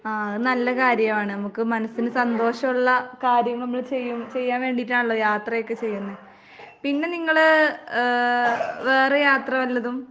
ആഹ് അത് നല്ല കാര്യവാണ്. ഇമ്മക്ക് മനസ്സിന് സന്തോഷോള്ള കാര്യം നമ്മള് ചെയ്യും ചെയ്യാൻ വേണ്ടീട്ടാണല്ലോ യാത്രയൊക്കെ ചെയ്യുന്നേ. പിന്നെ നിങ്ങള് ഏ വേറെ യാത്ര വല്ലതും